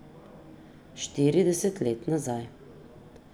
Štirideset let nazaj.